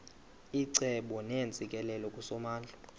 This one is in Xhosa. icebo neentsikelelo kusomandla